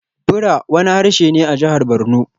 Bura wani harshe ne a Jihar Barno.